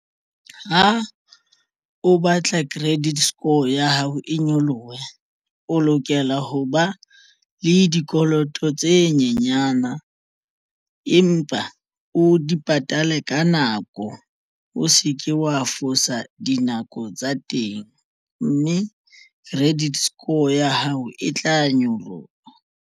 Ha o batla credit score ya hao e nyolohe o lokela ho ba le dikoloto tse nyenyana empa o di patale ka nako o se ke wa fosa dinako tsa teng mme credit score ya hao e tla nyoloha.